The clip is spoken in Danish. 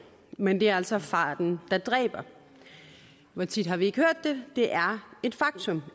men det er altså farten der dræber og hvor tit har vi ikke hørt det det er et faktum